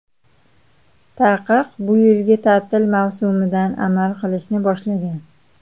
Taqiq bu yilgi ta’til mavsumidan amal qilishni boshlagan.